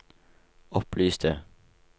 opplyste